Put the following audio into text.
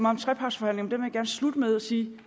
om trepartsforhandlingerne gerne slutte med at sige